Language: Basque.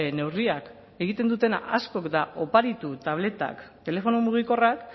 neurriak egiten dutena askok da oparitu tabletak telefono mugikorrak